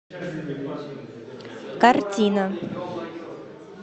картина